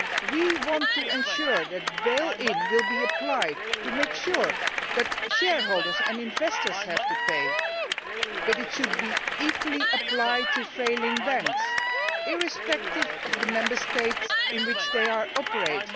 We want to ensure that bail in will be applied to make sure that shareholders and investors have to pay, but it should be equally applied to failing banks irrespective of the Member States in which they operate.